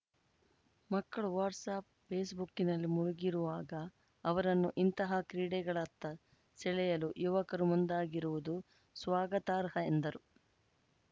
ಮಕ್ಕಳು ವ್ಯಾಟ್ಸ್‌ಆ್ಯಪ್‌ ಫೇಸ್‌ಬುಕ್ಕಿನಲ್ಲಿ ಮುಳುಗಿರುವಾಗ ಅವರನ್ನು ಇಂತಹ ಕ್ರೀಡೆಗಳತ್ತ ಸೆಳೆಯಲು ಯುವಕರು ಮುಂದಾಗಿರುವುದು ಸ್ವಾಗತಾರ್ಹ ಎಂದರು